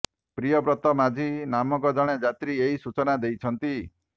ପ୍ରିୟବ୍ରତ ମାଝୀ ନାମକ ଜଣେ ଯାତ୍ରୀ ଏହି ସୂଚନା ଦେଇଛନ୍ତି